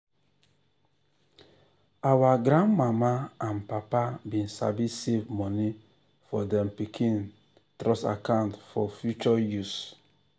our grand mama and papa been sabi save money for dem pikin trust account for future use.